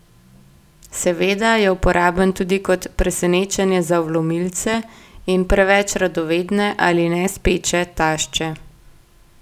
Seveda je uporaben tudi kot presenečenje za vlomilce in preveč radovedne ali nespeče tašče.